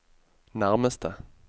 nærmeste